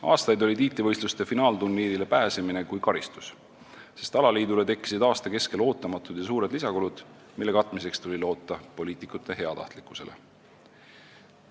Aastaid oli tiitlivõistluste finaalturniirile pääsemine kui karistus, sest alaliidule tekkisid aasta keskel ootamatud ja suured lisakulud, mille katmiseks tuli loota poliitikute heatahtlikkusele.